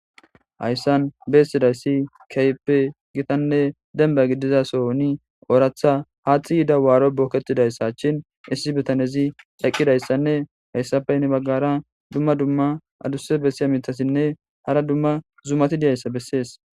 Hayssan beessidayssi kaype gitanne denba gidizasoni ooratha haaxi yida waaro bookettidayssa cshin issi bitanezi eqqidayssanne hayssafey ne baggara dumma dumma aduse bessiya mitasinne hara dumma zumati diyayssa bessees